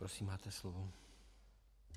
Prosím, máte slovo.